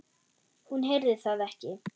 Hún heyrði það ekki.